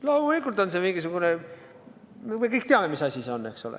Loomulikult on see mingisugune – me kõik teame, mis asi see on, eks ole.